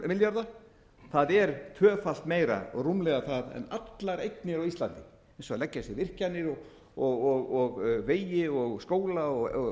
milljarða það er tvöfalt meira og rúmlega það en allar eignir á íslandi eins og þær leggja sig virkjanir vegi skóla íbúðarhúsnæði og